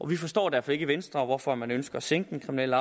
vi forstår derfor ikke i venstre hvorfor man ønsker at sænke den kriminelle